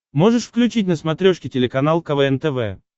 можешь включить на смотрешке телеканал квн тв